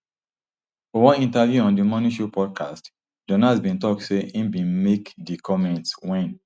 for one interview on di money show podcast jonas bin tok say im bin make di comments wen